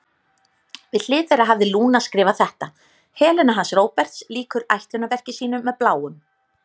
Við hlið þeirra hafði Lúna skrifað þetta: Helena hans Róberts lýkur ætlunarverki sínu með Bláum.